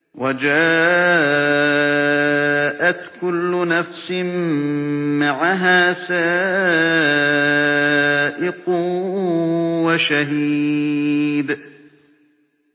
وَجَاءَتْ كُلُّ نَفْسٍ مَّعَهَا سَائِقٌ وَشَهِيدٌ